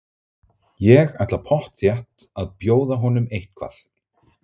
Ég ætla pottþétt að bjóða honum eitthvað.